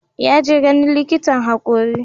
Ya je ganin likitan hakori.